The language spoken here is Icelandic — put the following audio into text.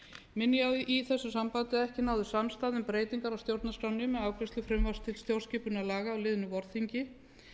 minni ég á í þessu sambandi að ekki náðist samstaða um breytingar á stjórnarskránni með afgreiðslu frumvarps til stjórnarskipunarlaga á liðnu vorþingi